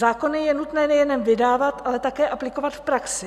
Zákony je nutné nejen vydávat, ale také aplikovat v praxi.